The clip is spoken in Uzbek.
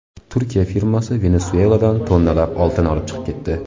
Turkiya firmasi Venesueladan tonnalab oltin olib chiqib ketdi.